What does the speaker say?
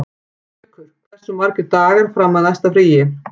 Gaukur, hversu margir dagar fram að næsta fríi?